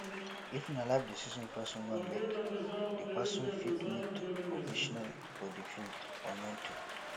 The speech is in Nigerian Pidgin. if na life decision person wan make di person fit meet professional for di field or mentor